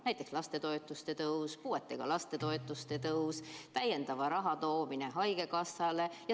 Näiteks lastetoetuste tõus, puuetega laste toetuste tõus, täiendava raha eraldamine haigekassale.